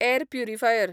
air purifier